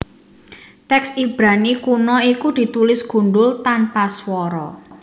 Tèks Ibrani kuna iku ditulis gundhul tanpa swara